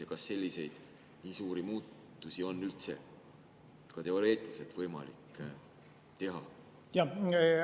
Ja kas selliseid suuri muutusi on üldse teoreetiliselt võimalik teha?